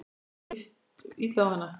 Mér líst illa á hana.